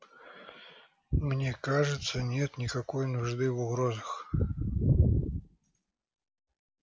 мне кажется нет никакой нужды в угрозах